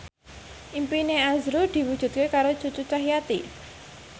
impine azrul diwujudke karo Cucu Cahyati